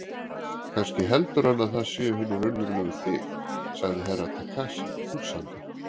Kannski heldur hann að það séu hinir raunverulegu þið, sagði Herra Takashi hugsandi.